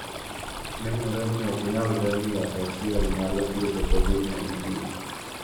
Nenore ni ok nyalre ni yath achiel nyalo thiedho Covid-19.